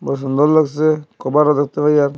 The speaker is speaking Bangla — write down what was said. ও সুন্দর লাগসে কভারও দেখতে পাই আর--